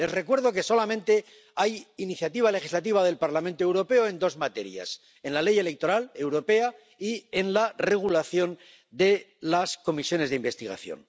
Les recuerdo que solamente hay iniciativa legislativa del Parlamento Europeo en dos materias en la ley electoral europea y en la regulación de las comisiones de investigación.